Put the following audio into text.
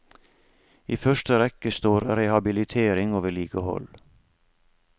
I første rekke står rehabilitering og vedlikehold.